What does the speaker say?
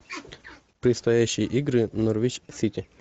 предстоящие игры норвич сити